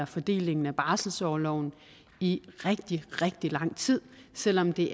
fordelingen af barselsorloven i rigtig rigtig lang tid selv om det